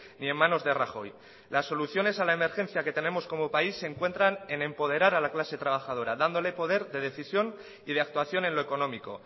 ni en manos de rajoy las soluciones a la emergencia que tenemos como país se encuentran en empoderar a la clase trabajadora dándole poder de decisión y de actuación en lo económico